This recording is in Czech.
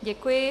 Děkuji.